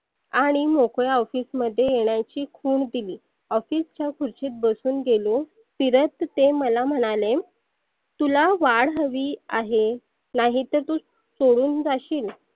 आणि मोकळ्या office मध्ये येण्याची खुन दिली. office च्या खुर्चीत बसुन गेलो फिरत ते मला म्हणाले तुला वाढ हवी आहे. नाहितर तु सोडून जाशील